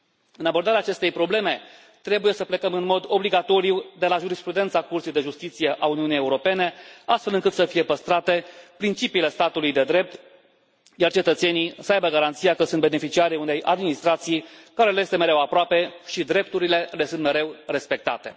În abordarea acestei probleme trebuie să plecăm în mod obligatoriu de la jurisprudența Curții de Justiție a Uniunii Europene, astfel încât să fie păstrate principiile statului de drept, iar cetățenii să aibă garanția că sunt beneficiarii unei administrații care le este mereu aproape și drepturile le sunt mereu respectate.